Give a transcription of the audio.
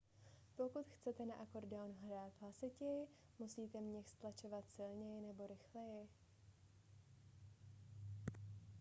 pokud chcete na akordeon hrát hlasitěji musíte měch stlačovat silněji nebo rychleji